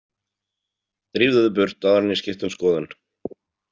Drífðu þig burt áður en ég skipti um skoðun.